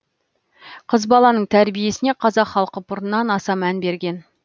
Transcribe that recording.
қыз баланың тәрбиесіне қазақ халқы бұрыннан аса мән берген